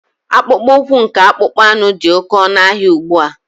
Akpụkpọ ụkwụ nke akpụkpọ anụ dị oke ọnụ ahịa ugbua.